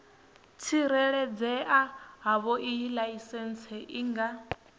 tsireledzea havhoiyi laisentsi i nga